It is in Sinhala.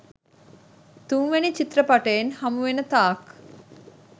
තුන්වෙනි චිත්‍රපටයෙන් හමුවෙන තාක්